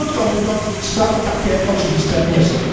Czyli, krótko mówiąc, sprawy takie oczywiste nie są.